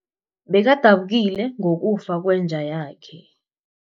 Bekadabukile ngokufa kwenja yakhe.